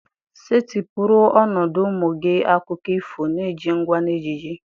Setịpụrụ ọnọdụ ụmụ gị akụkọ ifo na-eji ngwa na ejiji.